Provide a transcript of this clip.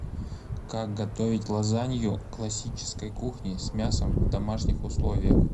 как готовить лазанью классической кухни с мясом в домашних условиях